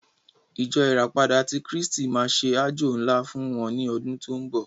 Ìjọ ìràpadà tí kristi máa ṣe àjọ ńlá wọ́n ní ọdún tí ó ń bọ̀.